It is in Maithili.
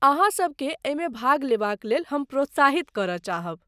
अहाँ सबकेँ एहिमे भाग लेबाक लेल हम प्रोत्साहित करय चाहब।